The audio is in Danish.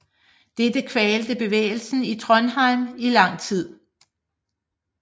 Dette kvalte bevægelsen i Trondheim i lang tid